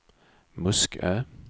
Muskö